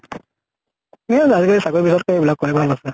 আজি কালি চাকৰি বিচৰাত্কে এইবিলাক কৰাই ভাল আছে।